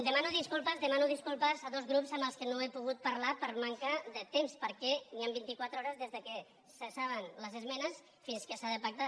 demano disculpes demano disculpes a dos grups amb què no he pogut parlar per manca de temps perquè hi han vint i quatre hores des que se saben les esmenes fins que s’ha de pactar